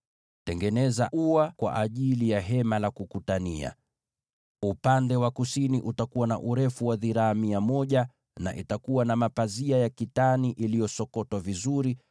“Tengeneza ua kwa ajili ya Hema la Kukutania. Upande wa kusini utakuwa na urefu wa dhiraa mia moja, na utakuwa na mapazia ya kitani iliyosokotwa vizuri,